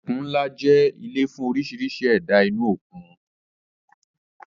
Òkun ńlá jẹ́ ilé fún oríṣiríṣi ẹ̀dá inú òkun